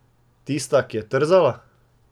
Tista, ki je trzala?